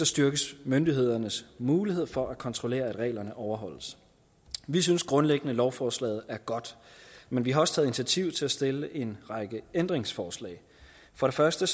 styrkes myndighedernes muligheder for at kontrollere at reglerne overholdes vi synes grundlæggende at lovforslaget er godt men vi har også taget initiativ til at stille en række ændringsforslag for første